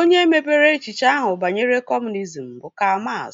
Onye mepere echiche ahu banyere kọmunizm bụ Karl Max